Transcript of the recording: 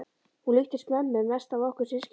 Hún líkist mömmu mest af okkur systkinunum.